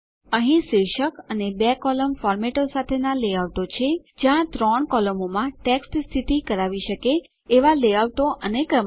અહીં શીર્ષક અને બે કોલમ ફોર્મેટો સાથેનાં લેઆઉટો છે જ્યાં ત્રણ કોલમોમાં ટેક્સ્ટ સ્થિતિ કરાવી શકે એવાં લેઆઉટો અને ક્રમશ